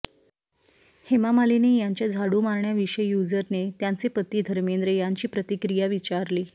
हेमा मालिनी यांच्या झाडू मारण्याविषयी यूजरने त्यांचे पती धर्मेंद्र यांची प्रतिक्रिया विचारली